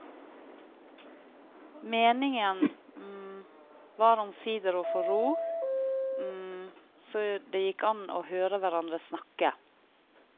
Meningen var omsider å få ro, så det gikk an å høre hverandre snakke.